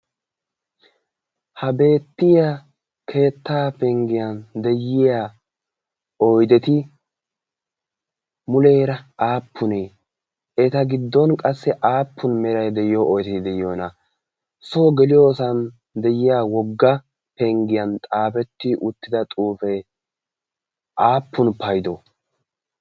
Ha beettiya keettaa penggiyan de'iya oydeti muleera aappunee? Eta giddon qassi aappun meray de'iyo oydee de'iyonaa? Soo geliyosan de'iya wogga penggiyan xaafetti uttida xuufee aappun paydoo?